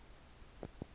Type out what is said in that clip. metsi a ka nnang a